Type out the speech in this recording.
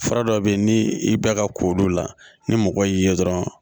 Fura dɔ bɛ yen ni i bɛ ka ko olu la ni mɔgɔ y'i ye dɔrɔn